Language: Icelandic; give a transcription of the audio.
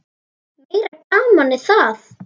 Meira gamanið það!